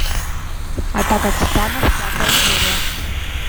атака титанов пятая серия